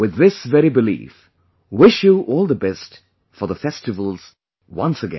With this very belief, wish you all the best for the festivals once again